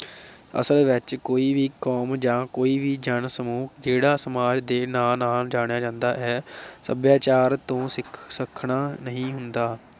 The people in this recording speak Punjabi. ਅਸਲ ਵਿਚ ਕੋਈ ਵੀ ਕੌਮ ਜਾਂ ਕੋਈ ਵੀ ਜਨ ਸਮੂਹ ਖੇੜਾ ਸਮਾਜ ਦੇ ਨਾਂ ਨਾਲ ਜਾਣਿਆ ਜਾਂਦਾ ਹੈ, ਸਭਿਆਚਾਰ ਤੋਂ ਸਿਕ ਸੱਖਣਾ ਨਹੀ ਹੁੰਦਾ।